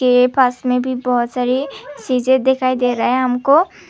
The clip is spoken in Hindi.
के पास में भी बहुत सारी चीजें दिखाई दे रहा है हमको।